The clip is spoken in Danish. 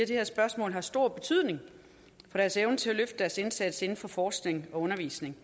det her spørgsmål har stor betydning for deres evne til at løfte deres indsats inden for forskning og undervisning